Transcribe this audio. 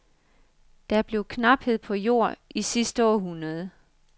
Der blev knaphed på jord i sidste århundrede.